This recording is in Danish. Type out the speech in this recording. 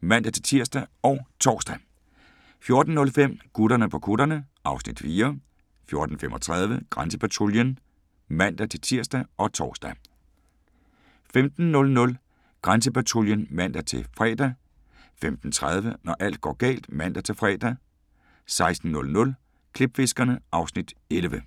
(man-tir og tor) 14:05: Gutterne på kutterne (Afs. 4) 14:35: Grænsepatruljen (man-tir og tor) 15:00: Grænsepatruljen (man-fre) 15:30: Når alt går galt (man-fre) 16:00: Klipfiskerne (Afs. 11)